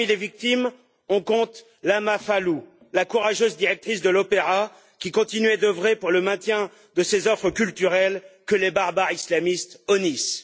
Parmi les victimes, on compte Lama Fallouh, la courageuse directrice de l'opéra, qui continuait d'œuvrer pour le maintien de ces offres culturelles que les barbares islamistes honnissent.